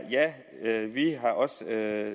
at